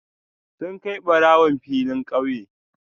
Suna kai barawon filin kauye